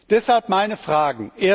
Deshalb meine Fragen